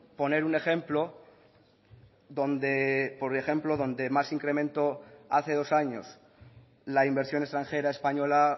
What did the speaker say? poner un ejemplo donde más se incrementó hace dos años la inversión extranjera española